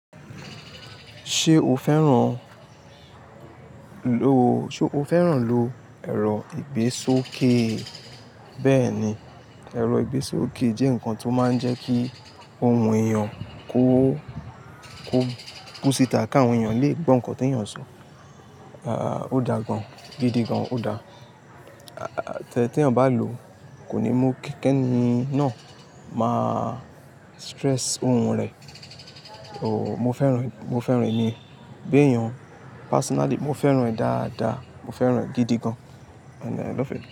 Ṣé o fẹ́ràn lo, ṣe o fẹ́ràn lo ẹ̀rọ ìgbésókè? Bẹ́ẹ̀ni, ẹ̀rọ ìgbésókè jẹ́ nǹkan tó máa ń jẹ́ kí ohun èèyàn kó, kó, kúsítà káwọn èèyàn lè gbọ́ nǹkan tí èèyàn sọ. Ah, ó dà gan-an, gidi gan, ó dà. Tí ẹ bá lò ó, kò ní mú kí ẹni náà máa stress phone rẹ̀. O, mo fẹ́ràn, mo fẹ́ràn èèyàn, gbé èèyàn personally, mo fẹ́ràn rẹ̀ dáadáa, mo fẹ́ràn rẹ̀ gidi gan. And i love it.